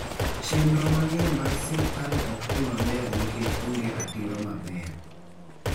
Chenro mang'eny mag sirkal ok dhi maber nikech onge ratiro maber.